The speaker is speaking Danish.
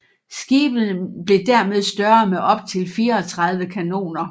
Skibene blev dermed større med optil 34 kanoner